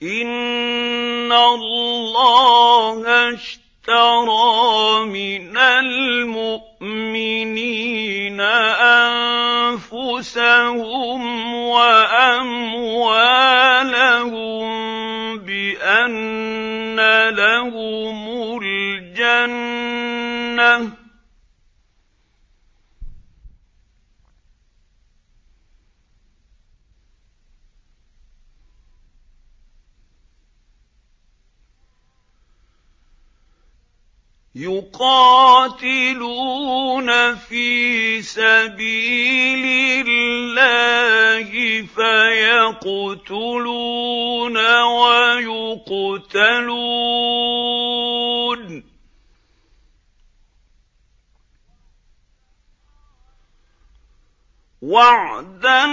۞ إِنَّ اللَّهَ اشْتَرَىٰ مِنَ الْمُؤْمِنِينَ أَنفُسَهُمْ وَأَمْوَالَهُم بِأَنَّ لَهُمُ الْجَنَّةَ ۚ يُقَاتِلُونَ فِي سَبِيلِ اللَّهِ فَيَقْتُلُونَ وَيُقْتَلُونَ ۖ وَعْدًا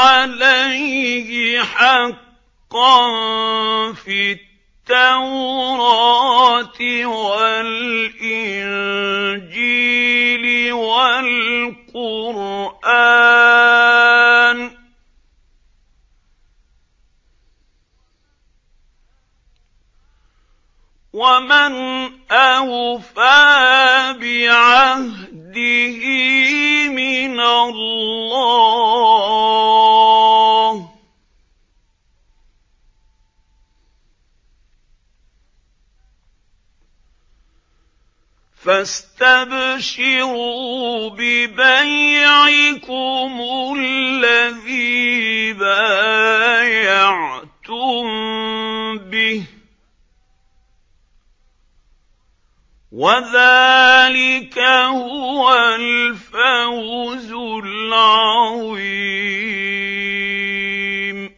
عَلَيْهِ حَقًّا فِي التَّوْرَاةِ وَالْإِنجِيلِ وَالْقُرْآنِ ۚ وَمَنْ أَوْفَىٰ بِعَهْدِهِ مِنَ اللَّهِ ۚ فَاسْتَبْشِرُوا بِبَيْعِكُمُ الَّذِي بَايَعْتُم بِهِ ۚ وَذَٰلِكَ هُوَ الْفَوْزُ الْعَظِيمُ